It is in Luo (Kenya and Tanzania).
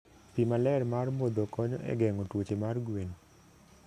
Pi maler mar modho konyo e geng'o tuoche mar gwen.